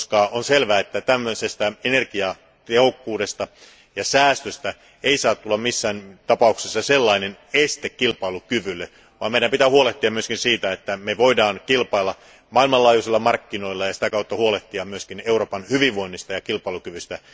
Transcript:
On selvää, että energiatehokkuudesta ja säästöstä ei saa tulla missään tapauksessa este kilpailukyvylle, vaan meidän pitää huolehtia myös siitä, että me voimme kilpailla maailmanlaajuisilla markkinoilla ja sitä kautta huolehtia myöskin Euroopan hyvinvoinnista ja kilpailukyvystä.